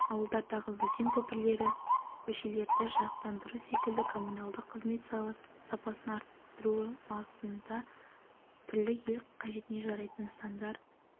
ауылдардағы өзен көпірлері көшелерді жарықтандыру секілді коммуналдық қызмет сапасын арттыру бағытында түрлі ел қажетінежарайтын нысандар